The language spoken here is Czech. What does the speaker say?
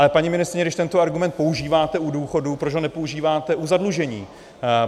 Ale paní ministryně, když tento argument používáte u důchodů, proč ho nepoužíváte u zadlužení?